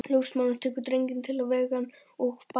Ljósmóðirin tekur drenginn til að vega hann og baða.